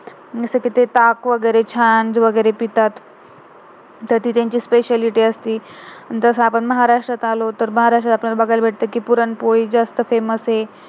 जसेकी ते ताक वगैरे छास वगैरे पितात, तर ती त्यांची speciality असती, अन तसं आपण महाराष्ट्रात आलो तर महाराष्ट्रात आपल्याला बगायला भेटते कि पुरणपोळी जास्त famouse आहे